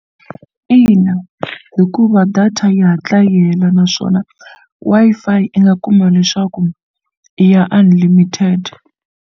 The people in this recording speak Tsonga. Ina hikuva data yi hatla yi hela naswona Wi-Fi i nga kuma leswaku i ya unlimited.